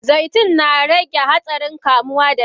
Zaitun narage hatssarin kamuwa da daji.